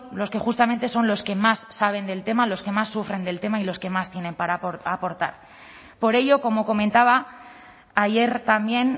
los que justamente son los que más saben del tema los que más sufren del tema y los que más tienen para aportar por ello como comentaba ayer también